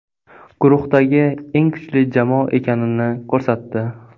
Guruhdagi eng kuchli jamoa ekanini ko‘rsatdi.